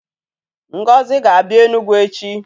Ngozi ga-abịa Enugwu echi.